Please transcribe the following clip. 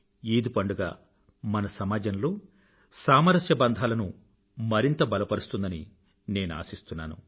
ఈద్ పండుగ మన సమాజంలో సామరస్య బంధాలను మరింత బలపరుస్తుందని నేను ఆశిస్తున్నాను